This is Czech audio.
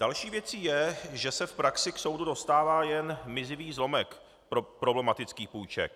Další věcí je, že se v praxi k soudu dostává jen mizivý zlomek problematických půjček.